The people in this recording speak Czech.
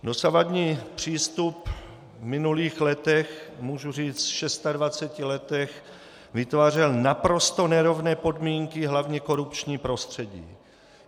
Dosavadní přístup v minulých letech, můžu říct v 26 letech, vytvářel naprosto nerovné podmínky, hlavně korupční prostředí.